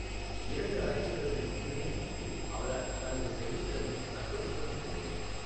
இரண்டு அரைசதங்கள் மட்டுமே அடித்து, அவரால் தனது செயல்திறனை தக்க வைக்க முடியவில்லை.